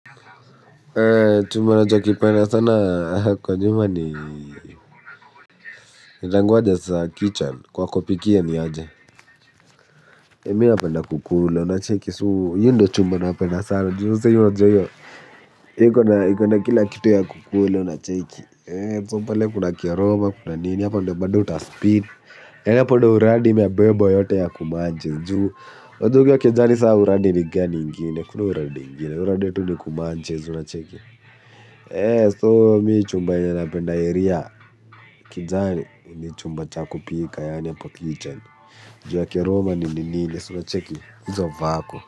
Chumba nacho kipenda sana kwa nyumba ni nitangoja saa kitchen kwa kopiki ya ni aje. Mi na penda kukulu le unacheki suu yundo chumba na penda sana juu nse yunajoyo. Ikona kila kitu ya kukulu le unacheki Tumpale kuna kia roma kuna nini hapa ndo bando utaspeed. Hapo ndo uradi imebebwa yote ya kumanches juu uduke ya kezani saa uradi ni gani ingine kuna uradi ingine uradi yetu ni kumanches unacheki eeh so me chumba chenye napenda area ni chumba cha kupika yaani kwa kitchen ju ya keroma.